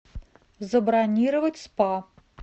забронировать спа